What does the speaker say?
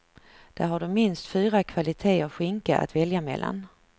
Där har du minst fyra kvaliteter skinka att välja mellan.